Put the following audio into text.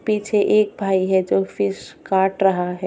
पीछे एक भाई है जो फिश काट रहा है।